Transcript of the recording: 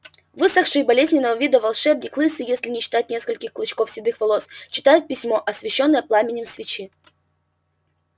высохший болезненного вида волшебник лысый если не считать нескольких клочков седых волос читает письмо освещённое пламенем свечи